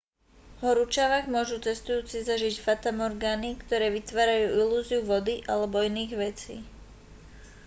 v horúčavách môžu cestujúci zažiť fatamorgány ktoré vytvárajú ilúziu vody alebo iných vecí